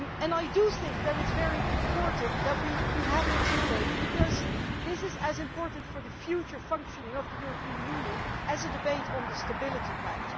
I think that it is very important that we have this debate because this is as important for the future functioning of the European Union as the debate on the Stability Pact.